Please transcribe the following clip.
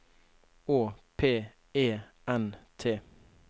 Å P E N T